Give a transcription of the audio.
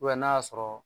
n'a y'a sɔrɔ